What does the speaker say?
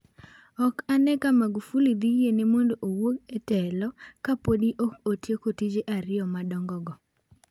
Ok ane ka magufuli dhi yiene mondo owuog e telo ka podi ok otieko tije ariyo madongogo.